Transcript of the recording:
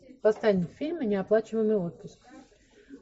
поставь фильм неоплачиваемый отпуск